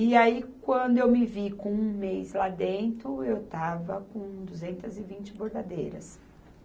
E aí, quando eu me vi com um mês lá dentro, eu estava com duzentas e vinte bordadeiras.